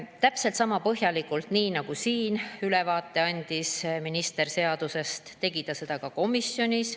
Täpselt sama põhjalikult, nagu minister andis siin ülevaate seadusest, tegi ta seda ka komisjonis.